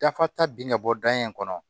Dafa ta bin ka bɔ dan in kɔnɔ